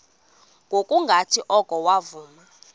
ngokungathi oko wavuma